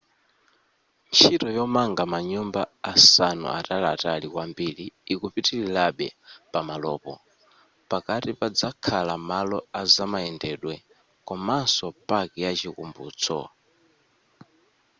ntchito yomanga manyumba asanu ataliatali kwambiri ikupitilirabe pamalopo pakati pazakhala malo azamayendedwe komaso paki ya chikumbutso